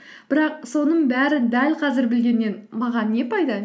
бірақ соның бәрін дәл қазір білгеннен маған не пайда